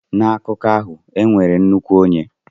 N'akụkọ ahụ, e nwere nnukwu onye.